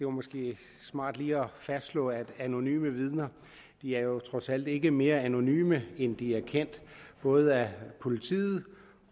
er måske smart lige at fastslå at anonyme vidner jo trods alt ikke er mere anonyme end at de er kendt af både politiet